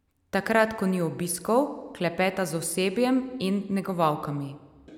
Takrat, ko ni obiskov, klepeta z osebjem in negovalkami.